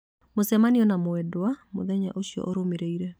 mũcemanio na mwendwa mũthenya ũcio ũrũmĩrĩire